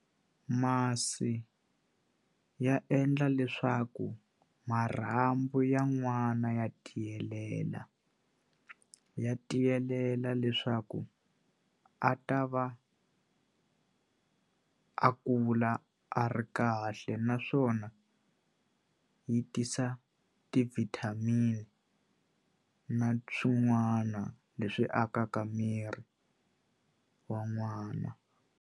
Masi ya endla leswaku marhambu ya n'wana ya tiyelela ya tiyelela leswaku a ta va a kula a ri kahle naswona yi tisa ti-vitamin na swin'wana leswi akaka miri wa n'wana.